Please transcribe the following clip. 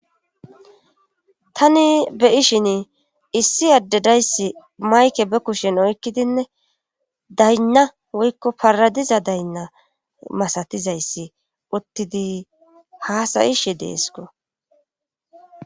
tani be'ishin issi addedayssi mayke be kushen oykkidinne daynna woykko paradiza daynna masatizayssi uttidi haasayishe deesko